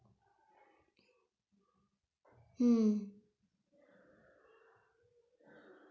হুম।